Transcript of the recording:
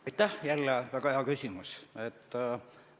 Aitäh, jälle väga hea küsimus!